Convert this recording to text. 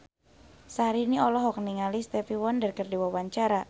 Syahrini olohok ningali Stevie Wonder keur diwawancara